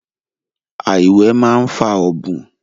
Àìwẹ̀ máa ń fa ọ̀bùn